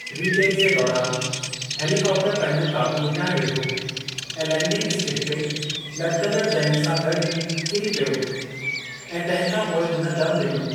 Retake जे दौरान, हेलीकॉप्टरु पंहिंजो क़ाबू विञाइ वेठो ऐं लैंडिंग स्किड ते लटिकंदड़ु जयन सां गॾु ई किरी पियो, ऐं तंहिं खां पोइ हुन दमु ॾिनो।